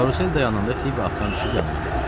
Karusel dayananda Fibi atdan düşüb yanıma gəldi.